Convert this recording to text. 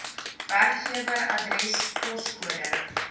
werkgewer adres poskode